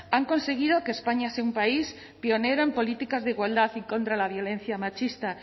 han conseguido que españa sea un país pionero en políticas de igualdad y contra la violencia machista